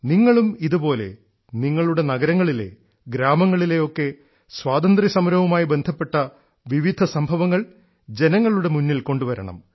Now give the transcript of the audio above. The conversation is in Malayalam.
നിങ്ങളും ഇതുപോലെ നിങ്ങളുടെ നഗരങ്ങളിലെ ഗ്രാമങ്ങളിലെ ഒക്കെ സ്വാതന്ത്ര്യസമരവുമായി ബന്ധപ്പെട്ട വിവിധ സംഭവങ്ങൾ ജനങ്ങളുടെ മുമ്പിൽ കൊണ്ടുവരണം